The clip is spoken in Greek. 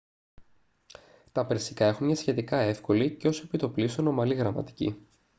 τα περσικά έχουν μια σχετικά εύκολη και ως επί το πλείστον ομαλή γραμματική